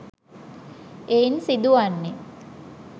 එයින් සිදුවන්නේ